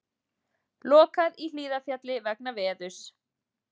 Lokað í Hlíðarfjalli vegna veðurs